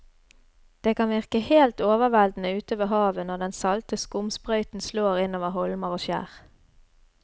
Det kan virke helt overveldende ute ved havet når den salte skumsprøyten slår innover holmer og skjær.